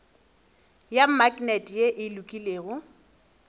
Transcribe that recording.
ya maknete ye e lokologilego